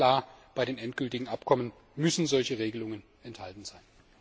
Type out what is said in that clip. Aber ganz klar in den endgültigen Abkommen müssen solche Regelungen enthalten sein.